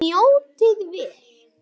Njótið vel.